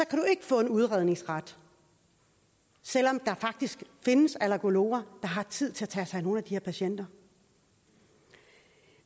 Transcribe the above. kan du ikke få en udredningsret selv om der faktisk findes allergologer der har tid til at tage sig af nogle af de her patienter